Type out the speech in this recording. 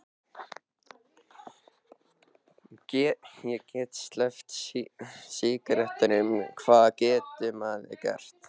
Ég get ekki sleppt sígarettunum, hvað getur maður gert?